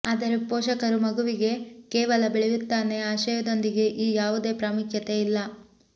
ಆದರೆ ಪೋಷಕರು ಮಗುವಿಗೆ ಕೇವಲ ಬೆಳೆಯುತ್ತಾನೆ ಆಶಯದೊಂದಿಗೆ ಈ ಯಾವುದೇ ಪ್ರಾಮುಖ್ಯತೆ ಇಲ್ಲ